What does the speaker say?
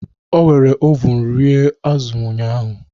O were ovun rie azụ̀ ụnyahụ